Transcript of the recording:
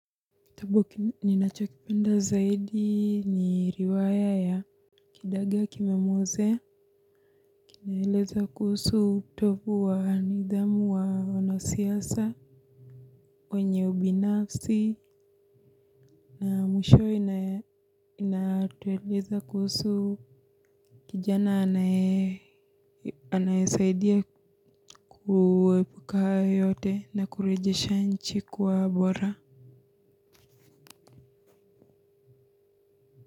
Kitambu, ninachokipenda zaidi ni riwaya ya kidaga kimemuozea. Kinaeleza kuhusu utovu wa nidhamu wa wanasiasa. Kwenye ubinafsi na mwisho inatueleza kuhusu kijana anaye anayesaidia kuepuka hayo yote na kurejesha nchi kwa bora.